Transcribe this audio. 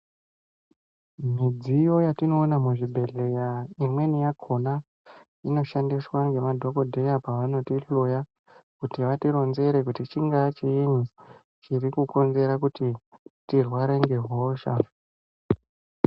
Mudziyo yatinoona muzvibhedhleya imweni yakhona inoshandiswa ngemadhokodheya pavanotihloya kuti vatironzere kuti chingaa chiinyi chiri kukonzera kuti tirware ngehosha.